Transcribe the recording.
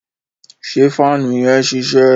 ṣe faanu yẹn ṣiṣẹ?